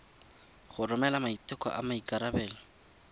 go romela maiteko a maikarebelo